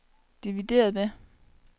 divideret med